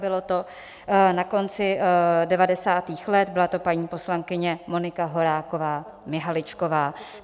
Bylo to na konci devadesátých let, byla to paní poslankyně Monika Horáková Mihaličková.